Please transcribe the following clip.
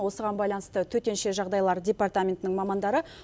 осыған байланысты төтенше жағдайлар департаментінің мамандары